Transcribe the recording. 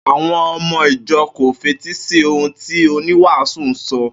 Àwo̩n o̩mo̩ ìjo̩ kò fetí sí ohun tí oníwàásù ń so̩